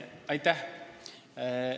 Aitäh!